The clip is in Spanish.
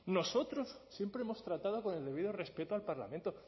nosotros siempre hemos tratado con el debido respeto al parlamento